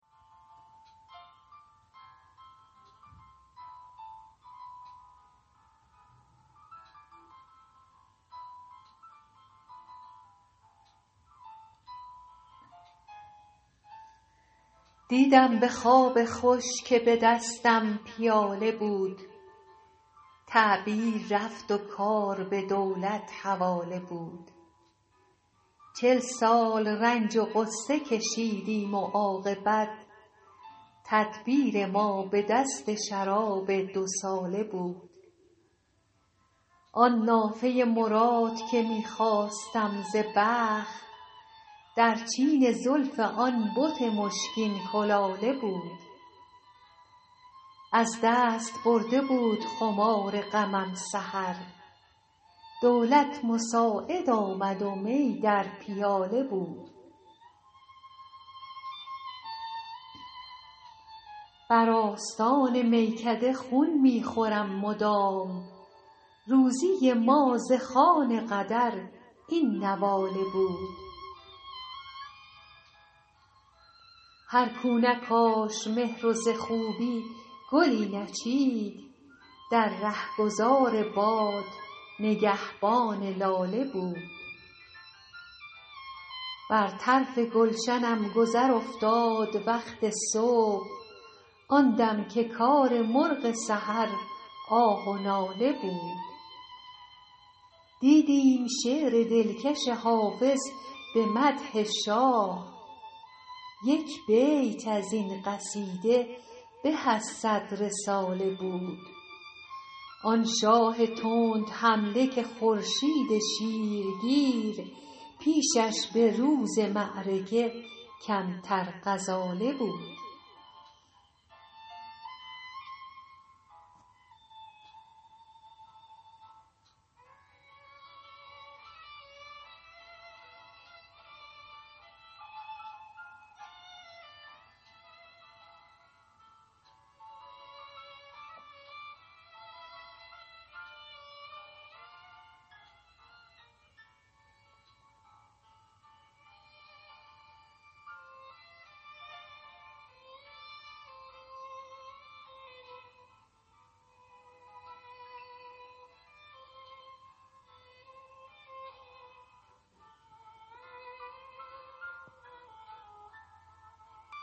دیدم به خواب خوش که به دستم پیاله بود تعبیر رفت و کار به دولت حواله بود چل سال رنج و غصه کشیدیم و عاقبت تدبیر ما به دست شراب دوساله بود آن نافه مراد که می خواستم ز بخت در چین زلف آن بت مشکین کلاله بود از دست برده بود خمار غمم سحر دولت مساعد آمد و می در پیاله بود بر آستان میکده خون می خورم مدام روزی ما ز خوان قدر این نواله بود هر کو نکاشت مهر و ز خوبی گلی نچید در رهگذار باد نگهبان لاله بود بر طرف گلشنم گذر افتاد وقت صبح آن دم که کار مرغ سحر آه و ناله بود دیدیم شعر دلکش حافظ به مدح شاه یک بیت از این قصیده به از صد رساله بود آن شاه تندحمله که خورشید شیرگیر پیشش به روز معرکه کمتر غزاله بود